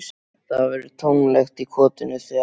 Það verður tómlegt í kotinu þegar